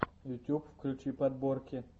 ютьюб включи подборки